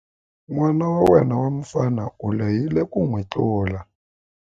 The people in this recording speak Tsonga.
N'wana wa yena wa mufana u lehile ku n'wi tlula.